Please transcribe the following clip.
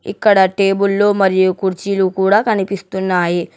ఇక్కడ టేబుల్ లు మరియు కుర్చీలు కూడా కనిపిస్తున్నాయి.